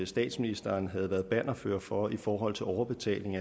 statsministeren havde været bannerfører for i forhold til overbetaling